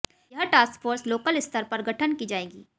यह task force local स्तर पर गठन की जाएंगी